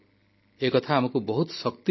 ଏକଥା ଆମକୁ ବହୁତ ଶକ୍ତିଦିଏ